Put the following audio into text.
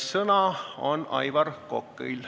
Sõna on Aivar Kokal.